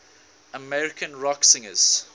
american rock singers